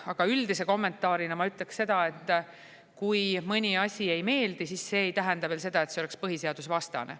Aga üldise kommentaarina ma ütleksin seda, et kui mõni asi ei meeldi, siis see ei tähenda veel seda, et see oleks põhiseadusevastane.